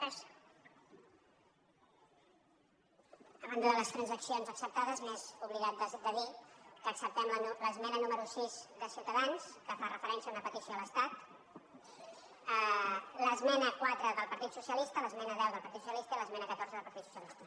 a banda de les transaccions acceptades m’he oblidat de dir que acceptem l’esmena número sis de ciutadans que fa referència a una petició a l’estat l’esmena quatre del partit socialista l’esmena deu del partit socialista i l’esmena catorze del partit socialista